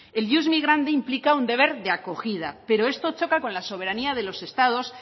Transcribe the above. el ius migrandi implica un deber de acogida pero esto choca con la soberanía de los estados